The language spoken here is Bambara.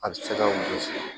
A bɛ se ka